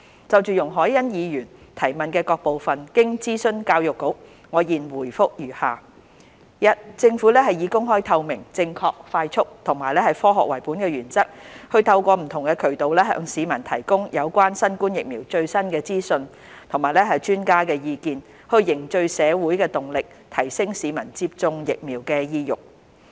就容海恩議員質詢的各部分，經諮詢教育局，我現答覆如下：一政府以公開透明、正確快速和科學為本的原則，透過不同渠道向市民提供有關新冠疫苗的最新資訊和專家的意見，以凝聚社會動力，提升市民接種疫苗的意欲。